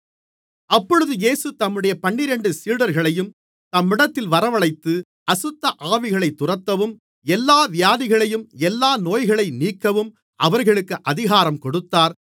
அப்பொழுது இயேசு தம்முடைய பன்னிரண்டு சீடர்களையும் தம்மிடத்தில் வரவழைத்து அசுத்தஆவிகளைத் துரத்தவும் எல்லா வியாதிகளையும் எல்லா நோய்களையும் நீக்கவும் அவர்களுக்கு அதிகாரம் கொடுத்தார்